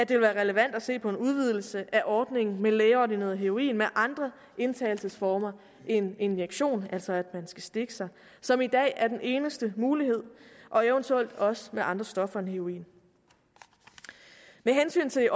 vil være relevant at se på en udvidelse af ordningen med lægeordineret heroin med andre indtagelsesformer end injektion altså at man skal stikke sig som i dag er den eneste mulighed og eventuelt også med andre stoffer end heroin med hensyn til